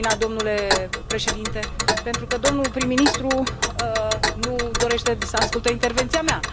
am terminat domnule președinte, pentru că domnul prim ministru nu dorește să asculte intervenția mea.